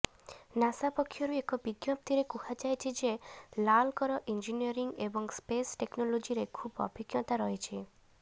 NASA ପକ୍ଷରୁ ଏକ ବିଜ୍ଞପ୍ତିରେ କୁହାଯାଇଛି ଯେ ଲାଲଙ୍କର ଇଞ୍ଜିନିୟରିଂ ଏବଂ ସ୍ପେସ୍ ଟେକ୍ନୋଲୋଜିରେ ଖୁବ୍ ଅଭିଜ୍ଞତା ରହିଛି